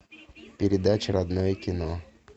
передача родное кино